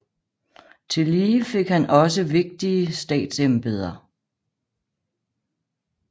Tillige fik han også vigtige statsembeder